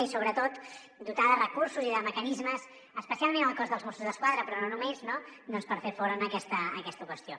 i sobretot dotar de recursos i de mecanismes especialment el cos dels mossos d’esquadra però no només per fer front a aquesta qüestió